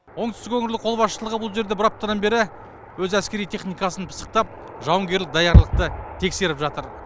оңтүстік өңірлік қолбасшылығы бұл жерде бір аптадан бері өз әскери техникасын пысықтап жауынгерлік даярлықты тексеріп жатыр